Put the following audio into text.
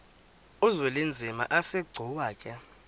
uzwelinzima asegcuwa ke